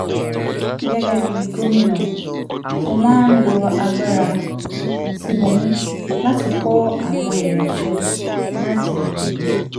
gẹ́gẹ́ bí gómìnà mo máa lo agbára tí mo ní láti kó àwọn èèyàn jọ láti